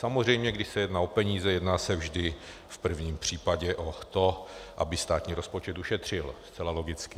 Samozřejmě, když se jedná o peníze, jedná se vždy v prvním případě o to, aby státní rozpočet ušetřil, zcela logicky.